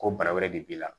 Ko bara wɛrɛ de b'i la